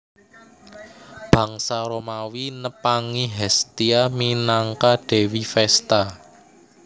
Bangsa Romawi nepangi Hestia minangka dewi Vesta